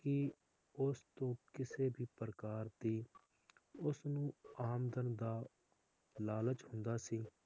ਕਿ ਉਸ ਤੋਂ ਕਿਸੇ ਵੀ ਪ੍ਰਕਾਰ ਦੀ ਉਸਨੂੰ ਆਮਦਨ ਦਾ ਲਾਲਚ ਹੁੰਦਾ ਸੀ